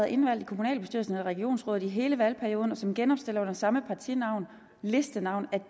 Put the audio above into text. indvalgt i kommunalbestyrelsen eller regionsrådet i hele valgperioden og som genopstiller under samme partinavn listenavn